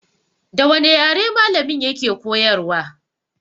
Da wane yare malamin ya ke koyarwa?